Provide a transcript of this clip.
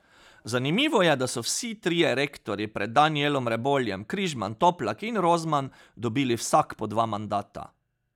Zanimivo je, da so vsi trije rektorji pred Danijelom Reboljem, Križman, Toplak in Rozman, dobili vsak po dva mandata.